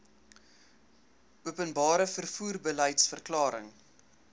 openbare vervoer beliedsverklaring